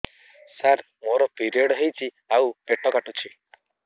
ସାର ମୋର ପିରିଅଡ଼ ହେଇଚି ଆଉ ପେଟ କାଟୁଛି